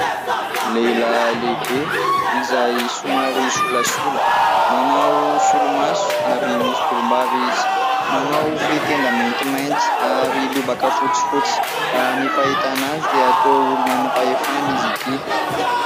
Lehilahy lehibe izay somary solasola, manao solomaso ary misy volom-bava izy, manao fehintenda maintimainty ary lobaka fotsifotsy, raha ny fahitana azy dia toa olona manam-pahefana izy ity.